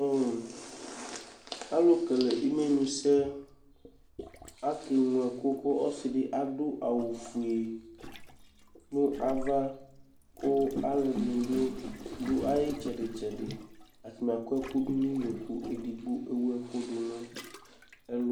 ɔlʊ kele ɛkʊ ŋlo sɛ ke ŋlo ɛkʊ kʊ ɔdɩ la dʊ awʊ fʊe kʊ ɔlʊ dɩnɩ dʊ ɩtsɛdɩ tsɛdɩ akɔ ɛkʊ nʊ ɩyo kʊ eya ahla nʊ ɛlʊ